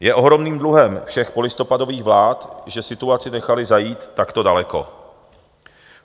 Je ohromným dluhem všech polistopadových vlád, že situaci nechali zajít takto daleko.